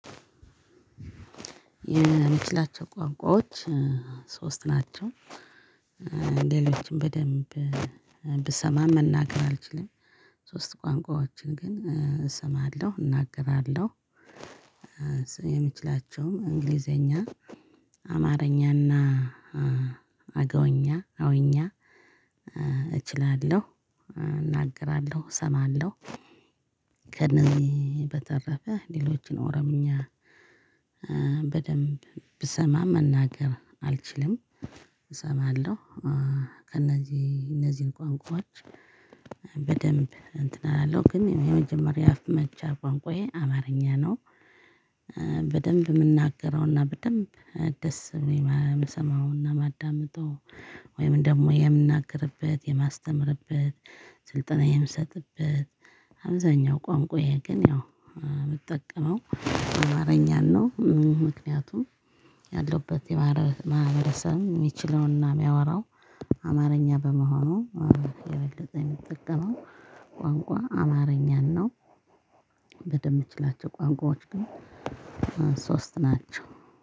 የምችላቸው ቋንቋዎች ሶስት ናቸው። ሌሎችም በደንብ ብሰማ መናገር አልችልም። ሶስት ቋንቋዎችን ግን እሰማለሁ እናገራለሁ። የምችላቸውም እንግሊዘኛ አማርኛና አገውኛ አውኛ እችላለሁ እናገራለሁ እሰማለሁ። ከእዚህ በተረፈ ሌሎችን ኦሮምኛ በደንብ ብሰማ መናገር አልችልም። እሰማለሁ ከእነዚህ እነዚህን ቋንቋዎች በደንብ እንትን አላለው ግን የመጀመሪያ አፍ መፍቻ ቋንቋዬ አማርኛ ነው። በደንብ የምናገረውና በደንብ ደስ ብሎኝ የምሰማውና የማዳምጠው ወይም ደግሞ የምናገርበት የማስተምርበት ስልጠና የምሰጥበት አብዛኛው ቋንቋየ ግን ያው የምጠቀመው አማርኛን ነው። ምክንያቱም ያለሁበት የባህር ማህበረሰብ የሚችለውና የሚያወራው አማርኛ በመሆኑ የበለጠ የምጠቀመው ቋንቋ አማርኛን ነው። በደንብ የምችላቸው ቋንቋዎች ግን ሶስት ናቸው።